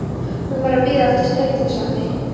Hún var að bíða eftir strætisvagni.